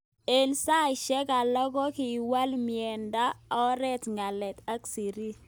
Eng saishek alak kokiwalminendet oret ngalalet ak sirik.